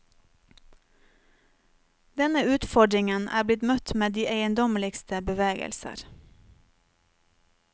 Denne utfordringen er blitt møtt med de eiendommeligste bevegelser.